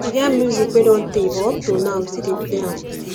e get music wey don tey but up to now we still dey play am